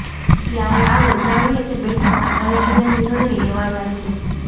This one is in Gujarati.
ત્યારે આવો જાણીએ કે બેઠકમાં કયા કયા નિર્ણય લેવાયાં છે